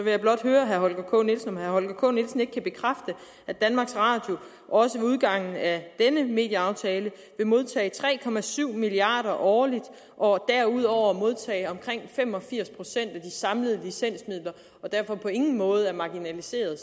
jeg blot høre herre holger k nielsen om herre holger k nielsen ikke kan bekræfte at danmarks radio også ved udgangen af denne medieaftale vil modtage tre milliard kroner årligt og derudover vil modtage omkring fem og firs procent af de samlede licensmidler og derfor på ingen måde er marginaliseret